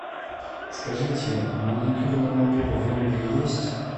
скажите маникюрный набор в номере есть